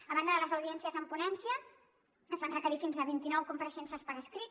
a banda de les audiències en ponència es van requerir fins a vint i nou compareixences per escrit